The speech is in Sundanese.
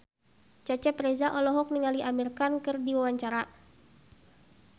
Cecep Reza olohok ningali Amir Khan keur diwawancara